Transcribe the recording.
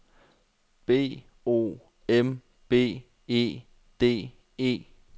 B O M B E D E